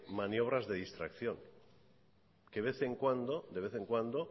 maniobras de distracción que de vez en cuando